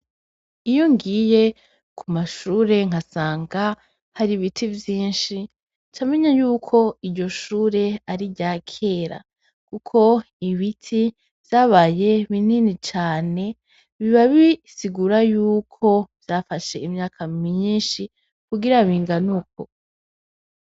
Iyo ngiye ku mashure nkasanga hari ibiti vyinshi camenye yuko iryo shure ari rya kera, kuko ibiti vyabaye binini cane biba bisigura yuko vyafashe imyaka minyinshi kugira binganuko.